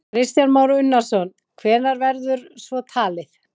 Kristján Már Unnarsson: Hvenær verður svo talið?